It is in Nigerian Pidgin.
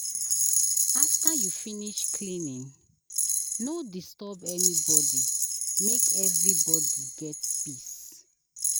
After you finish cleaning, no disturb anybody, make everybody get peace.